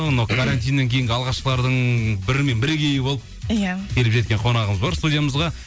анау карантиннен кейінгі алғашқылардың бірі мен бірігейі болып иә келіп жеткен қонағымыз бар студиямызға